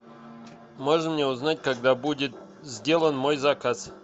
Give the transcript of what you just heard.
можно мне узнать когда будет сделан мой заказ